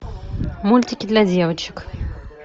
мультики для девочек